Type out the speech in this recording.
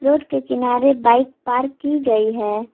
Road के किनारे bike park की गई है।